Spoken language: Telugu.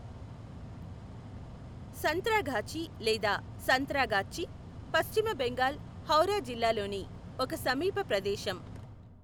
సంత్రాగాఛీ లేదా సంత్రాగాచ్చి, పశ్చిమ బెంగాల్, హౌరా జిల్లాలోని ఒక సమీప ప్రదేశం.